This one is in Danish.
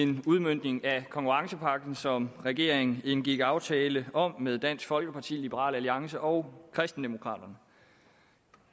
en udmøntning af konkurrencepakken som regeringen indgik en aftale om med dansk folkeparti liberal alliance og kristendemokraterne